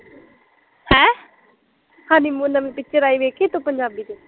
honeymoon ਨਵੀ picture ਆਈ ਦੇਖੀ ਤੂੰ ਪੰਜਾਬੀ ਚ